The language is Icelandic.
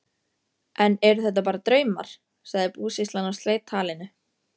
Enn eru þetta bara draumar, sagði búsýslan og sleit talinu.